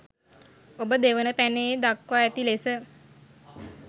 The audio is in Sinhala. ඔබ දෙවන පැනයේ දක්වා ඇති ලෙස